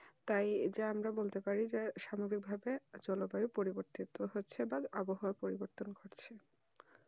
তাই যে আমরা বলতে পারি যে সুন্দর ভাবে জলুবায়ু পরির্বতন হচ্ছে বা আবহাওয়া পরিবতন হচ্ছে